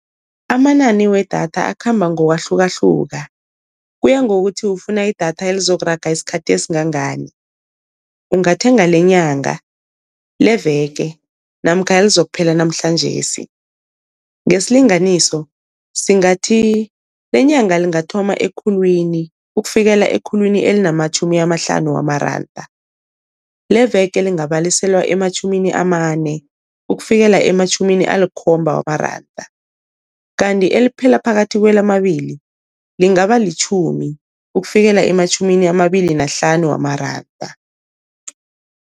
Amanani wedatha akhamba ngokwahlukahluka, kuya ngokuthi ufuna idatha elizokuraga isikhathi esingangani. Ungathenga lenyanga, leveke namkha elizokuphela namhlanjesi. Ngesilinganiso singathi lenyanga lingathoma ekhulwini ukufikela ekhulwini elinamatjhumi amahlanu wamaranda, leveke lingabaliselwa ematjhumini amane ukufikela ematjhumini alikhomba wamaranda, kanti eliphela phakathi kwelamabili lingaba litjhumi ukufikela ematjhumini amabili nahlanu wamaranda.